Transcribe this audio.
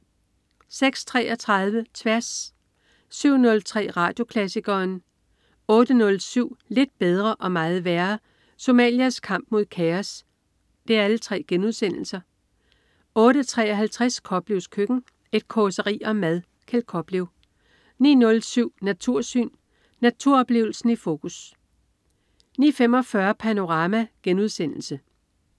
06.33 Tværs* 07.03 Radioklassikeren* 08.07 Lidt bedre og meget værre. Somalias kamp mod kaos* 08.53 Koplevs Køkken. Et causeri om mad. Kjeld Koplev 09.07 Natursyn. Naturoplevelsen i fokus 09.45 Panorama*